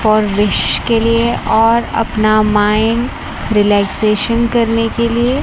और विश्व के लिए और अपना माइंड रिलैक्सेशन करने के लिए।